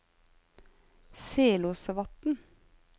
Selåsvatn